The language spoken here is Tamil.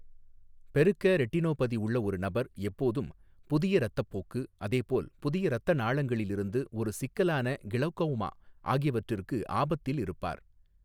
பெருக்க ரெட்டினோபதி உள்ள ஒரு நபர் எப்போதும் புதிய இரத்தப்போக்கு, அதே போல் புதிய இரத்த நாளங்களில் இருந்து ஒரு சிக்கலான கிளௌகோமா ஆகியவற்றிற்கு ஆபத்தில் இருப்பார்.